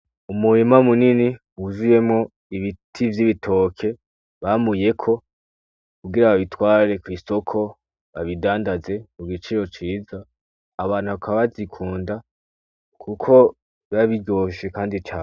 Umubima munini wujuyemo ibiti vyoibitoke bamuyeko kugira ababitware kristoko babidandaze ku giciro ciza abantu bakabazikunda, kuko babiroshe, kandi cane.